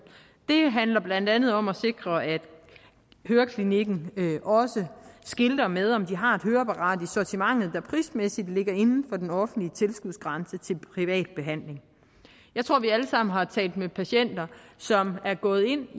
det handler blandt andet om at sikre at høreklinikken også skilter med om de har et høreapparat i sortimentet der prismæssigt ligger inden for den offentlige tilskudsgrænse til privat behandling jeg tror at vi alle sammen har talt med patienter som er gået ind